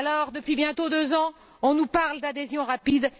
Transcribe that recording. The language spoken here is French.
Depuis bientôt deux ans, on nous parle d'adhésion rapide.